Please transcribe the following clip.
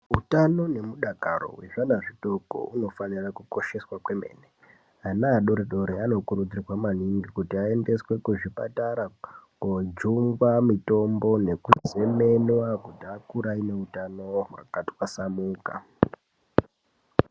Hutano nemudakaro wezvana zvidoko unofanira kukosheswa kwemene. Ana adoridori anokurudzirwa maningi kuti ayendeswe kuzvipatara kojungwa mitombo nekuzemenwa kuti akure anehutano wakathwasanuka.